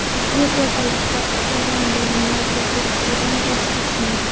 Yevropa Ittifoqi Eron bilan yadro kelishuvidan voz kechmaydi.